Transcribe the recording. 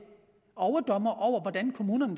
overdommere over hvordan kommunerne